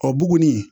O buguni